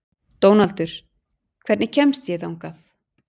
Dónaldur, hvernig kemst ég þangað?